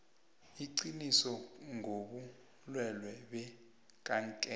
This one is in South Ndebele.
iqiniso ngobulwelwe bekankere